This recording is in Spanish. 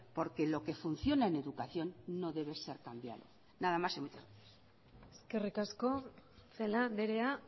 porque lo que funciona en educación no debe ser cambiado nada más y muchas gracias eskerrik asko celaá andrea